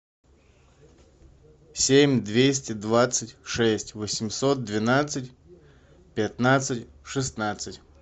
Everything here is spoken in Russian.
семь двести двадцать шесть восемьсот двенадцать пятнадцать шестнадцать